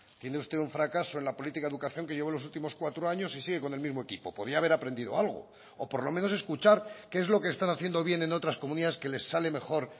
tiene usted un fracaso en la política de educación que llevó en los últimos cuatro años y sigue con el mismo equipo podía haber aprendido algo o por lo menos escuchar qué es lo que están haciendo bien en otras comunidades que les sale mejor